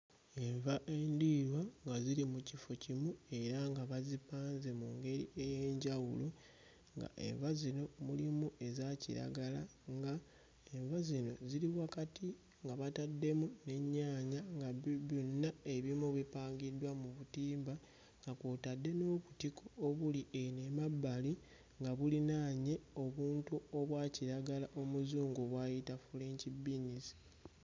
Enva endiirwa nga ziri mu kifo kimu era nga bazipanze mu ngeri ey'enjawulo nga enva zino mulimu eza kiragala nga enva zino ziri wakati nga bataddemu n'ennyaanya nga gu gyonna ebimu bipangiddwa mu butimba nga kw'otadde n'obutiko obuli ewamabbali nga bulinaanye obuntu obwa kiragala Omuzungu bw'ayita French beans.